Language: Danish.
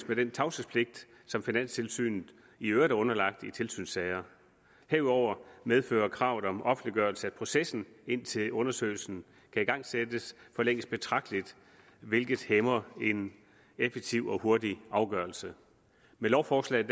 med den tavshedspligt som finanstilsynet i øvrigt er underlagt i tilsynssager herudover medfører kravet om offentliggørelse at processen indtil undersøgelsen kan igangsættes forlænges betragteligt hvilket hæmmer en effektiv og hurtig afgørelse med lovforslaget